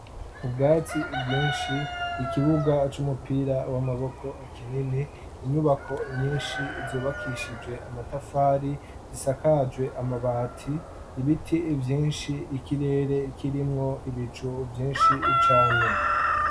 ubwatsi bwinshi ikibuga c'umupira w'amaboko kinini, inyubako nyinshi zubakishijwe amatafari zisakajwe amabati, ibiti vyinshi, ikirere kirimwo ibicu vyinshi cane.